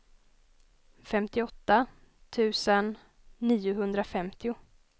femtioåtta tusen niohundrafemtio